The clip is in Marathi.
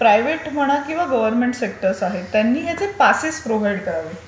प्रायव्हेट म्हणा किंवा गव्हर्नमेंट सेक्टर आहे त्यांनी याचे पासेस प्रोव्हाईड करावे.